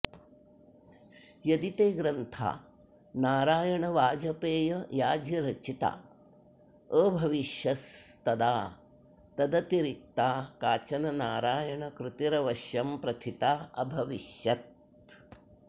यदि ते ग्रन्था नारायणवाजपेययाजीरचिता अभविष्यंस्तदा तदतिरिक्ता काचन नारायणकृतिरवश्यं प्रथिताऽभविष्यत्